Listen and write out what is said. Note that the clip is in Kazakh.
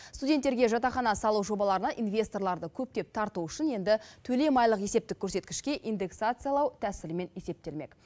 студенттерге жатақхана салу жобаларына инвесторларды көптеп тарту үшін енді төлем айлық есептік көрсеткішке индексациялау тәсілімен есептелмек